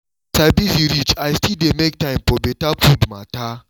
as i busy reach i still dey make time for better food matter